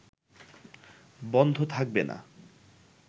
বন্ধ থাকবে না